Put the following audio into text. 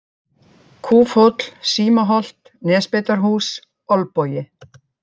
Kúfhóll, Símaholt, Nesbeitarhús, Olbogi